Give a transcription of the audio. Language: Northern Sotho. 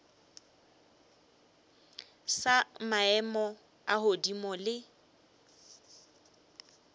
sa maemo a godimo le